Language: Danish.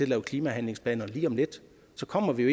lave klimahandlingsplaner lige om lidt så kommer vi jo